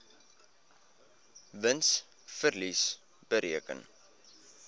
wins verlies bereken